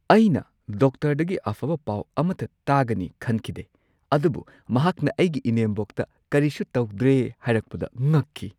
ꯑꯩꯅ ꯗꯣꯛꯇꯔꯗꯒꯤ ꯑꯐꯕ ꯄꯥꯎ ꯑꯃꯠꯇ ꯇꯥꯒꯅꯤ ꯈꯟꯈꯤꯗꯦ ꯑꯗꯨꯕꯨ ꯃꯍꯥꯛꯅ ꯑꯩꯒꯤ ꯏꯅꯦꯝꯕꯣꯛꯇ ꯀꯔꯤꯁꯨ ꯇꯧꯗ꯭ꯔꯦ ꯍꯥꯏꯔꯛꯄꯗ ꯉꯛꯈꯤ ꯫